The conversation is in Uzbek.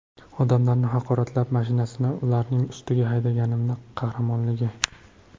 Odamlarni haqoratlab, mashinasini ularning ustiga haydaganimi qahramonligi?